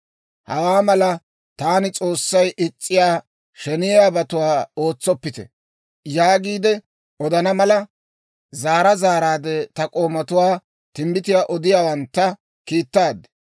«Hawaa malaa taani S'oossay is's'iyaa sheneyiyaabatuwaa ootsoppite!» yaagiide odana mala, zaara zaaraadde ta k'oomatuwaa, timbbitiyaa odiyaawantta, kiittaad.